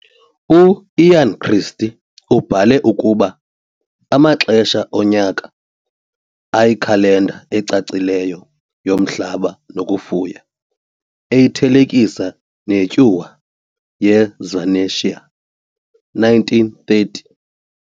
U-Ian Christie ubhale ukuba Amaxesha Onyaka, ayikhalenda ecacileyo yomhlaba nokufuya, eyithelekisa neTyuwa yeSvanetia 1930.